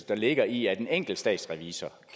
der ligger i at en enkelt statsrevisor